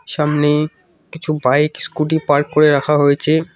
সামনে কিছু bike scooty park করে রাখা হয়েছে।